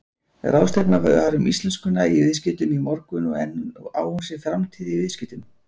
Ráðstefna var um íslenskuna í viðskiptum í morgun en á hún sér framtíð í viðskiptum?